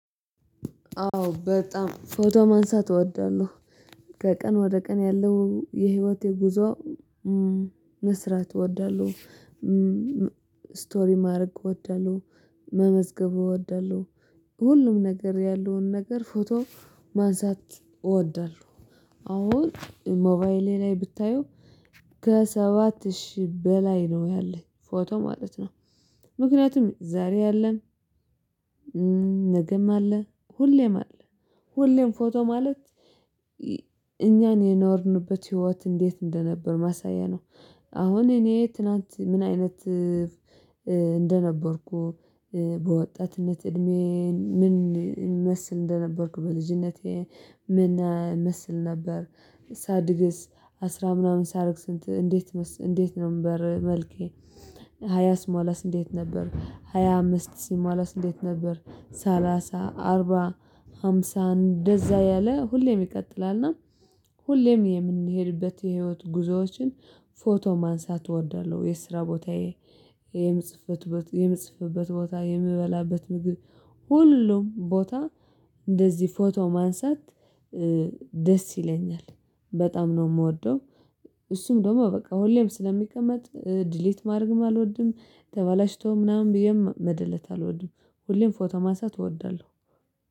አዎ በጣም ፎቶ ማንሳት እወዳለሁ። ከቀን ወደ ቀን ያለው የህይወቴ ጉዞ። መስራት እወዳለሁ። ስቶሪ ማድረግ እወዳለሁ። መመዝገብ እወዳለሁ። ሁሉም ነገር ያለውን ነገር ፎቶ ማንሳት እወዳለሁ። አሁን ሞባይሌ ላይ ብታዩ ከሰባት ሺህ በላይ ነው ያለኝ ፎቶ ማለት ነው። ምክንያቱም ዛሬ አለ ነገም አለ ሁሌም አለ። ሁሌም ፎቶ ማለት እኛን የኖርንበት ህይወት እንዴት እንደነበር ማሳያ ነው። አሁን እኔ ትናንት ምን አይነት እንደነበርኩ በወጣትነት እድሜዬን ምን እመስል እንደነበርኩ በልጅነቴ ምን እመስል ነበር? ሳድግስ አስራ ምናምን ሳረግ ስንት እንዴት እንዴት ነበር መልኬ? ሃያ ስሟላስ እንዴት ነበር? ሃያ አምስት ሲሟላስ እንዴት ነበር? ሰላሳ አርባ ሃምሳ እንደዛ ያለ ሁሌም ይቀጥላልና። ሁሌም የምንሄድበት የህይወት ጉዞዎችን ፎቶ ማንሳት እወዳለሁ። የስራ ቦታዬ የምጽፍበት የምጽፍበት ቦታ የምበላበት ምግብ ሁሉም ቦታ እንደዚህ ፎቶ ማንሳት ደስ ይለኛል። በጣም ነው የምወደው። እሱም ደግሞ በቃ ሁሌም ስለሚቀመጥ ዲሊት ማድረግም አልወድም ተባላሽቶም ምናምን ብዬም መደለት አልወድም። ሁሌም ፎቶ ማሳት እወዳለሁ